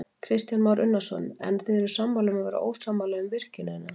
Kristján Már Unnarsson: En þið eruð sammála um að vera ósammála um virkjunina?